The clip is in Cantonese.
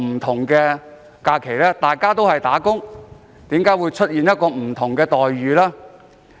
為何大家都是"打工仔"卻有不同待遇？